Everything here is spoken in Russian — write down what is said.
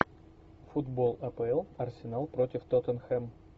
футбол апл арсенал против тоттенхэм